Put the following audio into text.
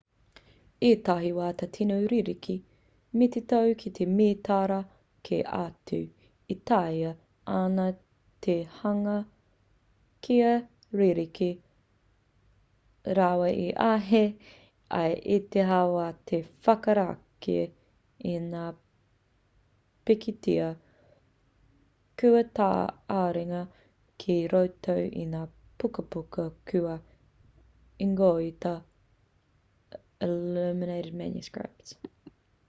ētahi wā ka tīno ririki me te tau ki mētara kē atu e taea ana te hanga kia ririki rawa e āhei ai ētahi wā te whakarākei i ngā pikitia kua tā-āringa ki roto i ngā pukapuka kua ingoatia illuminated manuscripts